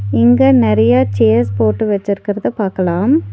இங்க நெறைய சேர்ஸ் போட்டு வெச்சிருக்குறத பாக்கலாம்.